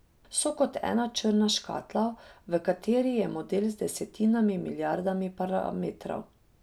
So kot ena črna škatla, v kateri je model z desetinami milijardami parametrov.